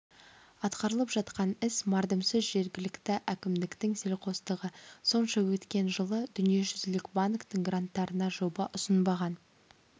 атқарылып жатқан іс мардымсыз жергілікті әкімдіктің селқостығы сонша өткен жылы дүниежүзілік банктің гранттарына жоба ұсынбаған